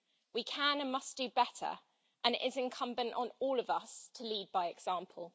We can and must do better, and it is incumbent on all of us to lead by example.